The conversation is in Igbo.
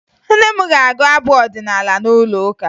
Nne m ga-agụ abụ ọdịnaala n'ụlọụka